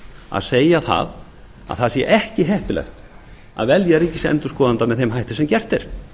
að segja að það sé ekki heppilegt að velja ríkisendurskoðanda með þeim hætti sem gert er